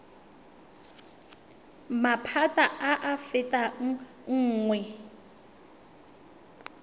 maphata a a fetang nngwe